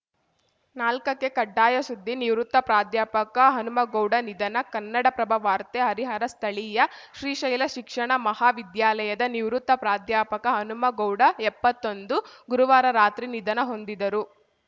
ನಾಲ್ಕಕ್ಕೆಕಡ್ಡಾಯ ಸುದ್ದಿ ನಿವೃತ್ತ ಪ್ರಾಧ್ಯಾಪಕ ಹನುಮಗೌಡ ನಿಧನ ಕನ್ನಡಪ್ರಭ ವಾರ್ತೆ ಹರಿಹರ ಸ್ಥಳೀಯ ಶ್ರೀಶೈಲ ಶಿಕ್ಷಣ ಮಹಾವಿದ್ಯಾಲಯದ ನಿವೃತ್ತ ಪ್ರಾಧ್ಯಾಪಕ ಹನುಮಗೌಡಎಪ್ಪತ್ತೊಂದು ಗುರುವಾರ ರಾತ್ರಿ ನಿಧನ ಹೊಂದಿದರು